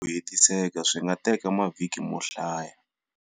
Ku hetiseka swi nga teka mavhiki mo hlaya.